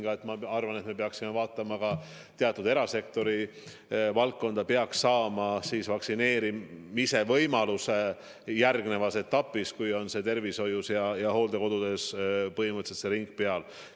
Aga nagu ma ütlesin, me peaksime vaatama ka teatud erasektori valdkondi, mis peaks saama vaktsineerimise võimaluse järgmises etapis, kui tervishoius ja hooldekodudes on põhimõtteliselt ring peale tehtud.